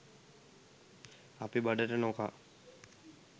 අපි බඩට නොකා